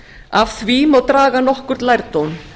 af því má draga nokkurn lærdóm